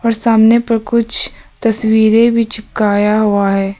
और सामने पर कुछ तस्वीरें भी चिपकाया हुआ है।